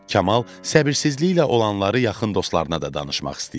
Kamal səbirsizliklə olanları yaxın dostlarına da danışmaq istəyirdi.